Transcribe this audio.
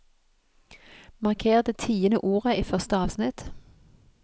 Marker det tiende ordet i første avsnitt